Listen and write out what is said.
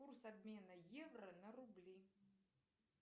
курс обмена евро на рубли